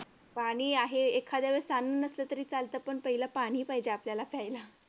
पाणी आहे एखाद्याला काही नसलं तर चालतं पण पहिलं पाणी पाहिजे आपल्याला प्यायला.